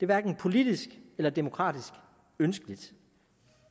hverken politisk eller demokratiske ønskeligt